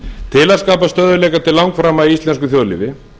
til að skapa stöðugleika til langframa í íslensku þjóðlífi